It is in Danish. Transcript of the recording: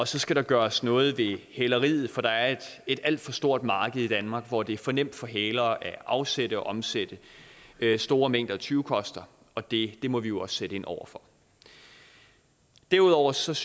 så skal der gøres noget ved hæleriet for der er et alt for stort marked i danmark hvor det er for nemt for hælere at afsætte og omsætte store mængder af tyvekoster og det må vi jo også sætte ind over for derudover synes